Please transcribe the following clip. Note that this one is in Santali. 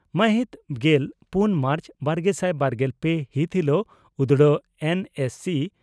ᱢᱟᱦᱤᱛ ᱜᱮᱞ ᱯᱩᱱ ᱢᱟᱨᱪ ᱵᱟᱨᱜᱮᱥᱟᱭ ᱵᱟᱨᱜᱮᱞ ᱯᱮ ᱦᱤᱛ ᱦᱤᱞᱚᱜ ᱩᱫᱽᱲᱟ ᱮᱱᱹᱮᱹᱥᱤᱹ